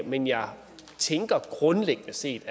men jeg tænker at vi grundlæggende set